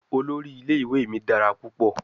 Olori ile-iwe mi dara pupọ